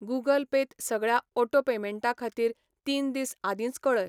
Google Pay त सगळ्या auto पेमेंटां खातीर तीन दीस आदींच कऴय.